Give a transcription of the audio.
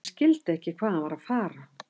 Ég skildi ekki hvað hann var að fara.